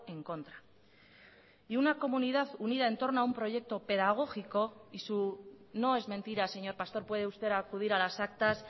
en contra y una comunidad unida en torno a un proyecto pedagógico y su no es mentira señor pastor puede usted acudir a las actas